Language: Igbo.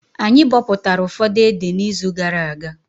Anyị bọpụtara ụfọdụ ede na izu gara aga